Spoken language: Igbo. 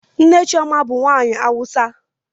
Nne Chioma bu nwanyi awusa.